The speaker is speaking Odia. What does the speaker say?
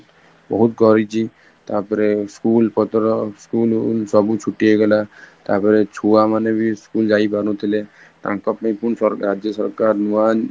ବହୁତ କରିଛି ତାପରେ school ପତର, school ସବୁ ଛୁଟି ହେଇଗଲା ତାପରେ ଛୁଆ ମାନେ ବି school ଯାଇ ପାରୁ ନଥିଲେ ତାଙ୍କ ପାଇଁ ପୁଣି ସରକାର ରାଜ୍ୟ ସରକାର ନୂଆ